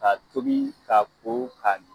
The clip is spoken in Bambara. Ka tobi ka ko ka